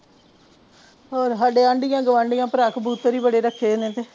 ਹੋਰ ਸਾਡੇ ਅੰਡਿਆਂ ਗੁਵਾਂਢੀਆਂ ਭਰਾ ਕਬੂਤਰ ਹੀ ਬੜੇ ਰੱਖੇ ਹੋਏ ਨੇ ਤੇ